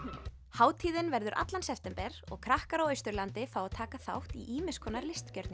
hátíðin verður allan september og krakkar á Austurlandi fá að taka þátt í ýmiss konar